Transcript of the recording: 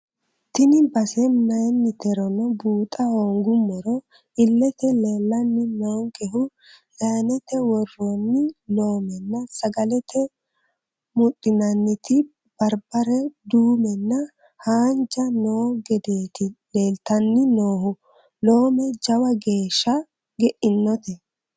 Tini base mayiniterono buuxa hoonguummorono ilete leellanni noonkehu zayinete woronuti lomenna sagalete mudhinanniti baribare duumenna haanja noo gedeti leelittanni noohu loome jawa geeshsha geinote.